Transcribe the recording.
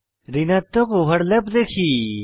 ঋণাত্মক ওভারল্যাপ দেখি